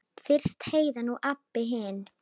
Fyrst Heiða, nú Abba hin.